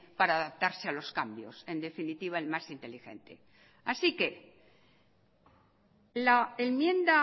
para adaptarse a los cambios en definitiva el más inteligente así que la enmienda